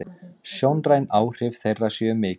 Sjónræn áhrif þeirra séu mikil.